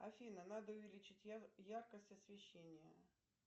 афина надо увеличить яркость освещения